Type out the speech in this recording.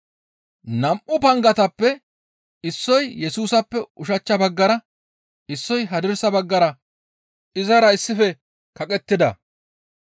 Nam7u pangatappe issoy Yesusappe ushachcha baggara, issoy hadirsa baggara izara issife kaqettida.